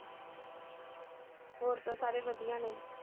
ਹੋਰ ਤਾਂ ਸਾਰੇ ਵਧੀਆ ਨੇ।